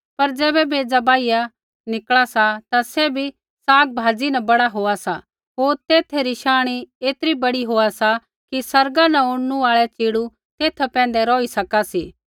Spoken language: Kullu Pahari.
पर ज़ैबै बेज़ा बाहिया उगा सा ता सैभी सागपाता न बड़ा होआ सा होर तेथै री शांणी ऐतरी बड़ी होआ सी कि आसमाना न उड़नू आल़ै च़िड़ू तेथा पैंधै रौही सका सी